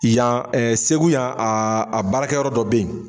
Yan ɛ segu yan a a baarakɛ yɔrɔ dɔ be yen